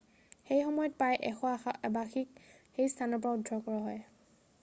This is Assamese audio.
সেইসময়ত প্ৰায় 100 আবাসীক সেই স্থানৰ পৰা উদ্ধাৰ কৰা হয়